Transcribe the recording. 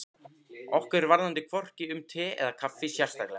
Okkur varðaði hvorki um te eða kaffi sérstaklega.